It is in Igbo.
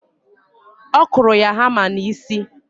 Ọ kụrụ ya hama n'isi.